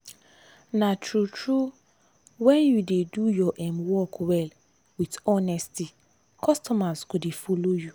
na true! true! when you dey do your um work well with honesty customers go dey follow you.